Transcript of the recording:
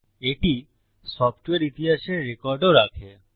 এটি সফ্টওয়্যার ইতিহাসের রেকর্ডও রাখে